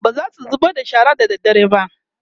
bazasu zubar da shara da dare ba